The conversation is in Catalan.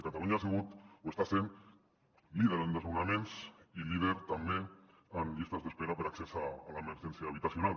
catalunya ha sigut o està sent líder en desnonaments i líder també en llistes d’espera per a accés a l’emergèn·cia habitacional